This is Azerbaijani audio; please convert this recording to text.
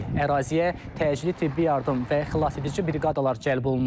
Əraziyə təcili tibbi yardım və xilasedici briqadalar cəlb olunub.